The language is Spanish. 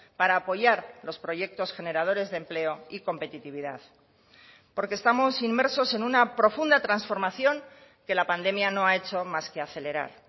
para apoyar los proyectos generadores de empleo y competitividad porque estamos inmersos en una profunda transformación que la pandemia no ha hecho más que acelerar